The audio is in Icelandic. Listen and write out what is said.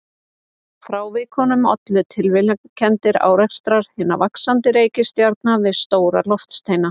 Frávikunum ollu tilviljanakenndir árekstrar hinna vaxandi reikistjarna við stóra loftsteina.